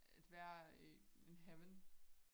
At være in heaven